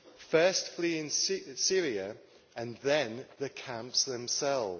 first fleeing Syria and then the camps themselves.